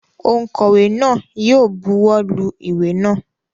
Ònkówè náà yi o buwó lu ìwé náà